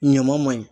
Ɲama ma ɲi